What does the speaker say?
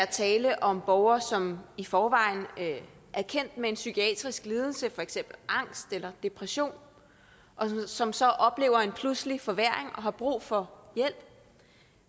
tale om borgere som i forvejen er kendt med psykiatrisk lidelse for eksempel angst eller depression og som så oplever en pludselig forværring og har brug for hjælp